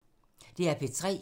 DR P3